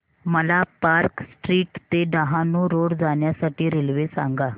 मला park street ते Dahanu road जाण्या साठी रेल्वे सांगा